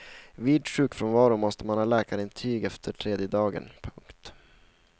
Vid sjukfrånvaro måste man ha läkarintyg efter tredje dagen. punkt